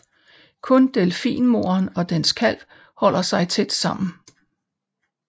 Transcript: Kun delfinmoderen og dens kalv holder sig tæt sammen